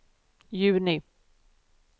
juni